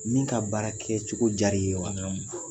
Min ka baara kɛ cogo diyara i ye wa naamu.